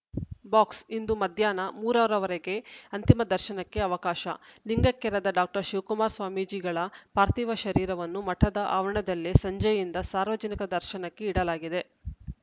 box ಇಂದು ಮಧ್ಯಾಹ್ನ ಮೂರ ರವರೆಗೆ ಅಂತಿಮ ದರ್ಶನಕ್ಕೆ ಅವಕಾಶ ಲಿಂಗೈಕ್ಯರಾದ ಡಾಕ್ಟರ್ ಶಿವಕುಮಾರ ಸ್ವಾಮೀಜಿಗಳ ಪಾರ್ಥಿವ ಶರೀರವನ್ನು ಮಠದ ಆವರಣದಲ್ಲೇ ಸಂಜೆಯಿಂದ ಸಾರ್ವಜನಿಕ ದರ್ಶನಕ್ಕೆ ಇಡಲಾಗಿದೆ